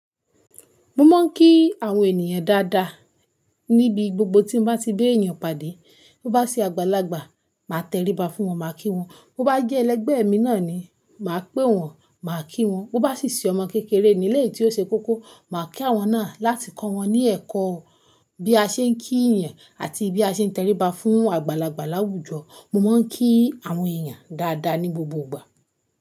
Mo máa ń kí àwọn ènìyàn dáadáa níbi gbogbo tí m bá ti b'èyàn pade. Bo bá sì àgbàlagbà, màá tẹríba fún wọn, màá kí wọn. Bo bá jẹ́ ẹlẹgbẹ̀ mi náà ni, màá pè wọ́n, màá kí wọ́n. Bo bá sì ṣe ọmọ kékeré elé tí ó ṣe kókó, màá kí àwọn náà láti kọ́ wọn ní ẹ̀kọ́ bí a ṣe ń kí yan àti bí a ṣe ń tẹríba fún àgbàlagbà láwùjọ. Mo máa ń kí àwọn ènìyàn dáadáa ní gbogbo ìgbà.